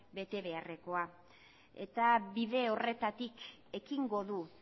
betebeharrekoa eta bide horretatik ekingo du